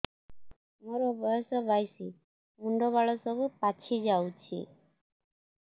ମୋର ବୟସ ବାଇଶି ମୁଣ୍ଡ ବାଳ ସବୁ ପାଛି ଯାଉଛି